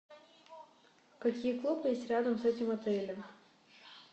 какие клубы есть рядом с этим отелем